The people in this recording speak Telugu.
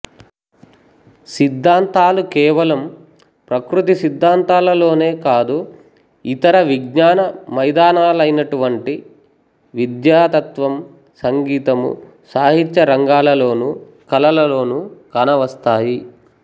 సిద్ధాంతాలు కేవలం ప్రకృతి సిద్ధాంతాల లోనే కాదు ఇతర విజ్ఞాన మైదానాలైనటువంటి విద్య తత్వము సంగీతము సాహిత్యరంగాలలోనూ కళలలోనూ కానవస్తాయి